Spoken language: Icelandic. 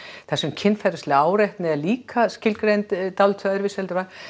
þar sem kynferðisleg áreitni er líka skilgreind dálítið öðruvísi heldur en að